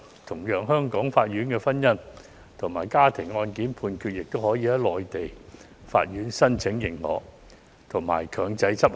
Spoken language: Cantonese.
同樣地，香港法院的婚姻或家庭案件判決，亦可在向內地法院申請認可後強制執行。